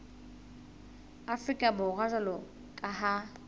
afrika borwa jwalo ka ha